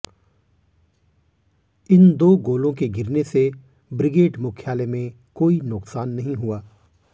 इन दो गोलों के गिरने से ब्रिगेड मुख्यालय में कोई नुकसान नहीं हुआ